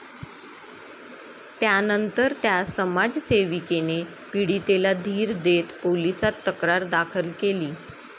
त्यानंतर त्या समाजसेविकेने पीडितेला धीर देत पोलिसात तक्रार दाखल केली.